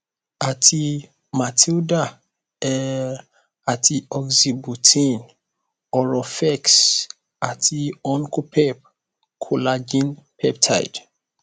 àti matilda er àti oxybutynin oroferxt àti ankopep collagen peptide